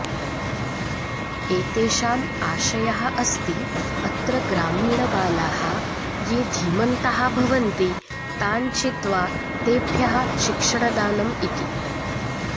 एतेषाम् आशयः अस्ति अत्र ग्रामीणबालाः ये धीमन्तः भवन्ति तान् चित्वा तेभ्यः शिक्षणदानम् इति